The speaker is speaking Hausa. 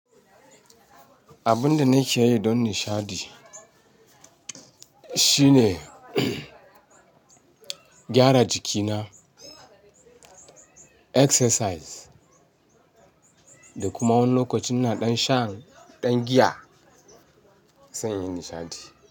Abun da nake yi don nishaɗi shine gyara jikina, exercise da kuma wani lokacin inaɗan shan ɗan giya, sai inyi nishaɗi.